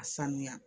A sanuya